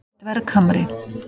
Dverghamri